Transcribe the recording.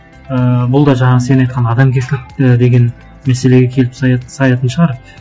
ыыы бұл да жаңағы сен айтқан адамгершілікті деген мәселеге келіп саятын шығар